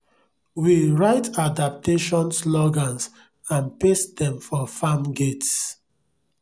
we write adaptation slogans and paste dem for farm gates